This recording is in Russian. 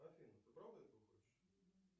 афина ты правда этого хочешь